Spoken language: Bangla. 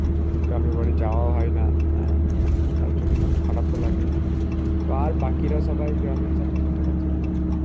গ্রামের বাড়ি যাওয়া হয় না. হ্যাঁ, তাই জন্য খারাপও লাগে. তো আর বাকিরা সবাই গ্রামে সব ঠিকঠাক আছে?